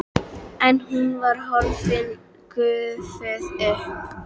En hún var horfin, gufuð upp.